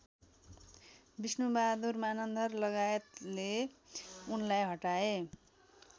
विष्णुबहादुर मानन्धरलगायतले उनलाई हटाए